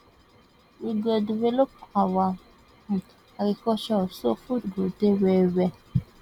we go develop our um agriculture so food go dey wellwell